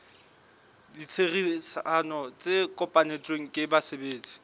ditherisano tse kopanetsweng ke basebetsi